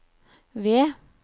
ved